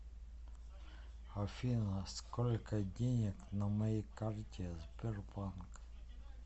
афина сколько денег на моей карте сбербанк